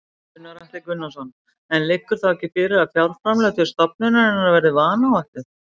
Gunnar Atli Gunnarsson: En liggur þá ekki fyrir að fjárframlög til stofnunarinnar voru vanáætluð?